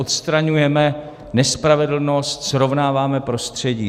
Odstraňujeme nespravedlnost, srovnáváme prostředí.